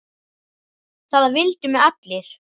Það vildu mig allir.